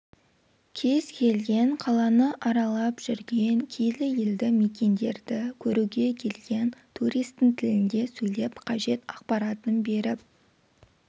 кез келген қаланы аралап жүрген киелі елдімекендерді көруге келген туристің тілінде сөйлеп қажет ақпаратын беріп